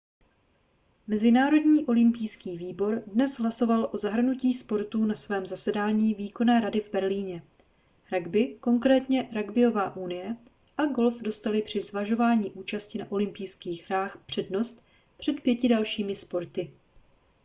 mezinárodní olympijský výbor dnes hlasoval o zahrnutí sportů na svém zasedání výkonné rady v berlíně ragby konkrétně ragbyová unie a golf dostaly při zvažování účasti na olympijských hrách přednost před pěti dalšími sporty